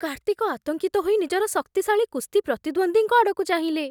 କାର୍ତ୍ତିକ ଆତଙ୍କିତ ହୋଇ ନିଜର ଶକ୍ତିଶାଳୀ କୁସ୍ତି ପ୍ରତିଦ୍ୱନ୍ଦ୍ୱୀଙ୍କ ଆଡ଼କୁ ଚାହିଁଲେ।